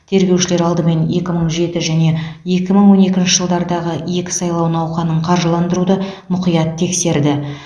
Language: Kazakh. тергеушілер алдымен екі мың жеті және екі мың он екінші жылдардағы екі сайлау науқанын қаржыландыруды мұқият тексерді